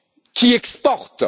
qui exportent.